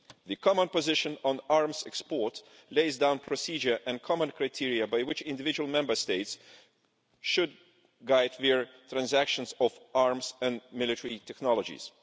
The common position on arms exports lays down procedure and common criteria by which individual Member States should guide their transactions of arms and military technologies.